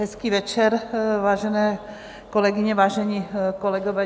Hezký večer, vážené kolegyně, vážení kolegové.